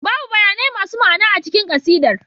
Babu bayanai masu ma'ana a cikin ƙasidar